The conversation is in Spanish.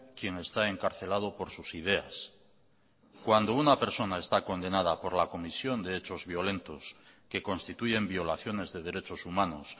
quien está encarcelado por sus ideas cuando una persona está condenada por la comisión de hechos violentos que constituyen violaciones de derechos humanos